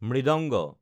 মৃদাংগা মৃদঙ্গ